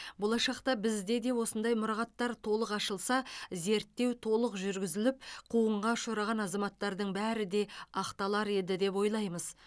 болашақта бізде де осындай мұрағаттар толық ашылса зерттеу толық жүргізіліп қуғынға ұшыраған азаматтардың бәрі де ақталар еді деп ойлаймыз